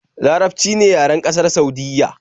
Larabci ne yaren ƙasar Saudiyya